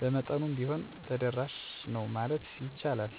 በመጠኑም ቢሆን ተደራሽ ነው ማለት ይቻላል። የሚስፈልግ ማሻሻያ መንገድና መድረሻ ለተበላሽ እና በኩል ተንቀሳቃሽ ሰዎች ተስማሚ የመግቢያ መንገዶች መፍጠር። መሳሪያና አካል ድጋፍ የመንቀሳቀሻ መሳሪያ ማበረታታት (የመንቀሳቀስ መኪናዎች) ማሟላት። ሰራተኞች ማሰልጠን የማስተላለፊያ ቋንቋዎችና አገልግሎት